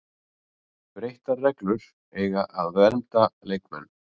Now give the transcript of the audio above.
Breyttar reglur eiga að vernda leikmenn